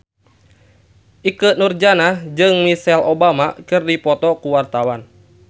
Ikke Nurjanah jeung Michelle Obama keur dipoto ku wartawan